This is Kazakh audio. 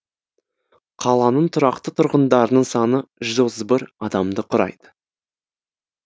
қаланың тұрақты тұрғындарының саны жүз отыз бір адамды құрайды